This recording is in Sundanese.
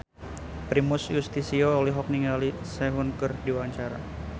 Primus Yustisio olohok ningali Sehun keur diwawancara